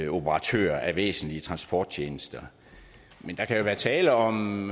operatører af væsentlige transporttjenester men der kan være tale om